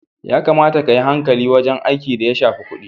Ya kamata kayi hankali wajen aiki da ya shafi kudi.